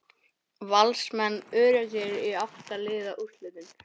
Valsmenn öruggir í átta liða úrslitin